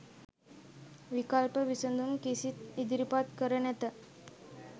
විකල්ප විසඳුම් කිසිත් ඉදිරිපත් කර නැත